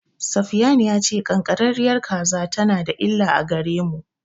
Safiyanu ya ce ƙanƙararriyar kaza tana da illa a gare mu.